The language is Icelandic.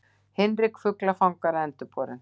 Hinrik fuglafangara endurborinn.